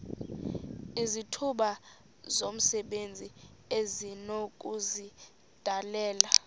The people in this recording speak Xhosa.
izithuba zomsebenzi esinokuzidalela